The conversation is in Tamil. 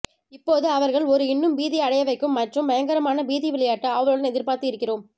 இப்போது அவர்கள் ஒரு இன்னும் பீதி அடைய வைக்கும் மற்றும் பயங்கரமான பீதி விளையாட்டு ஆவலுடன் எதிர்பார்த்து இருக்கிறோம்